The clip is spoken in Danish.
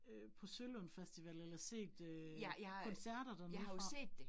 Øh på Sølund Festival eller set øh koncerter dernedefra